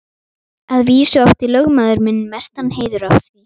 Að vísu átti lögmaður minn mestan heiður af því.